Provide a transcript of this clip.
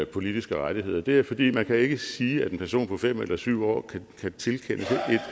politiske rettigheder det er fordi man ikke kan sige at en person på fem eller syv år kan tilkendes et